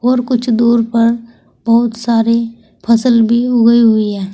और कुछ दूर पर बहोत सारी फसल भी उगी हुई हैं।